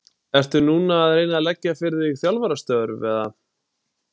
Ertu núna að reyna að leggja fyrir þig þjálfarastörf eða?